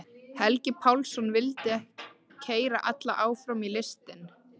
Helgi Pálsson vildi keyra alla áfram í listinni.